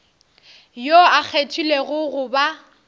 yoo a kgethilwego go ba